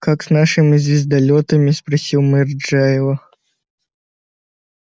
как с нашими звездолётами спросил мэр джаэля